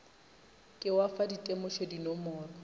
ke wa fa ditemošo dinomoro